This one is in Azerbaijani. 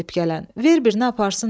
Ver birinə aparsın da.